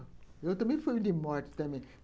Eu também fui de morte também.